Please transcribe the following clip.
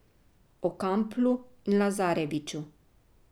O Kamplu in Lazareviću.